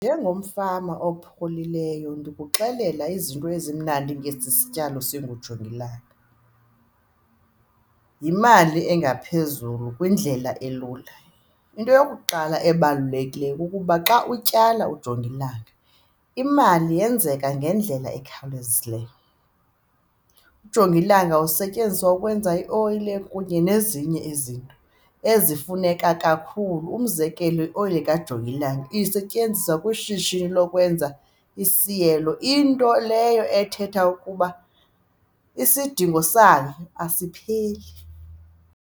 Njengomfama opholileyo ndikuxelela izinto ezimnandi ngesi sityalo singujongilanga, yimali engaphezulu kwindlela elula. Into yokuqala ebalulekileyo kukuba xa utyala ujongilanga imali yenzeka ngendlela ekhawulezileyo. Ujongilanga usetyenziswa ukwenza ioyile kunye nezinye izinto ezifuneka kakhulu, umzekelo oyile kajongilanga isetyenziswa kwishishini lokwenza isiyelo into leyo ethetha ukuba isidingo sayo asipheli.